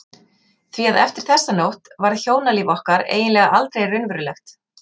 Því að eftir þessa nótt varð hjónalíf okkar eiginlega aldrei raunverulegt.